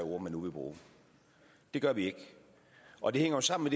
ord vi nu vil bruge det gør vi ikke og det hænger jo sammen